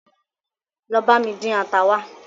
Lọ bami dín ata wa